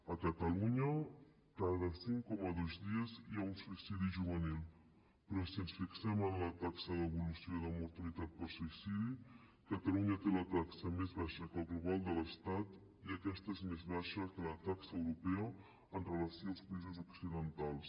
a catalunya cada cinc coma dos dies hi ha un suïcidi juvenil però si ens fixem en la taxa d’evolució de mortalitat per suïcidi catalunya té la taxa més baixa que el global de l’estat i aquesta és més baixa que la taxa europea amb relació als països occidentals